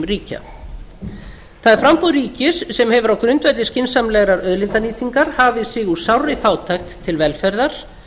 ríkja það er framboð ríkis sem hefur á grundvelli skynsamlegrar auðlindanýtingar hafið sig úr sárri fátækt til velferðar